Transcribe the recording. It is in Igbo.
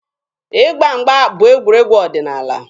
Ịgba mgba bụ egwuregwu ọdịnaala.